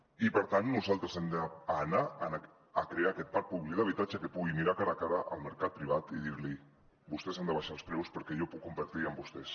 i per tant nosaltres hem d’anar a crear aquest parc públic d’habitatge que pugui mirar cara a cara el mercat privat i dir li vostès han d’abaixar els preus perquè jo puc competir amb vostès